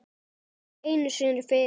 Ekki einu sinni fyrir